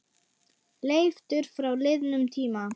Leiftur frá liðnum tíma.